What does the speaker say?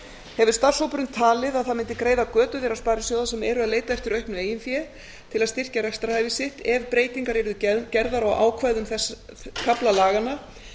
hefur starfshópurinn talið að það mundi greiða götu þeirra sparisjóða sem eru að leita eftir auknu eigin fé til að styrkja rekstrarhæfi sitt ef breytingar yrðu gerðar á ákvæðum þess kafla laganna